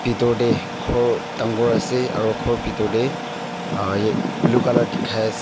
bitor dey ghor dangor ase aru ghor bitor dey uh blue colour dikhai ase.